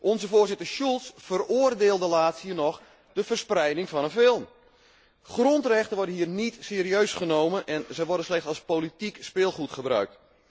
Onze Voorzitter Schulz veroordeelde laatst hier nog de verspreiding van een film. Grondrechten worden hier niet serieus genomen en worden slechts als politiek speelgoed gebruikt.